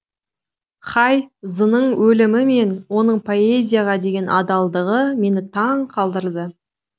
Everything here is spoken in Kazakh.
хай зының өлімі мен оның поэзияға деген адалдығы мені таң қалдырды